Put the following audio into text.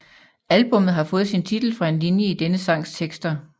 Albummet har fået sin titel fra en linje i denne sangs tekster